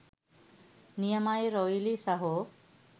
නියමයි රොයිලි සහෝ.